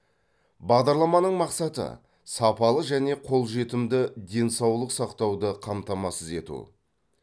бағдарламаның мақсаты сапалы және қолжетімді денсаулық сақтауды қамтамасыз ету